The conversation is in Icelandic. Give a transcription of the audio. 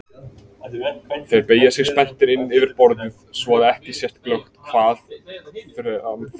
Þeir beygja sig spenntir inn yfir borðið svo að ekki sést glöggt hvað fram fer.